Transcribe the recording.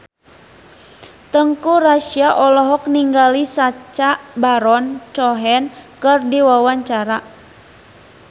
Teuku Rassya olohok ningali Sacha Baron Cohen keur diwawancara